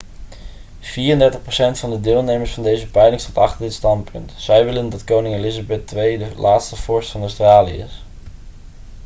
34 procent van de deelnemers van deze peiling stond achter dit standpunt zij willen dat koningin elizabeth ii de laatste vorst van australië is